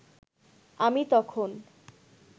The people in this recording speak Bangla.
আমি তখন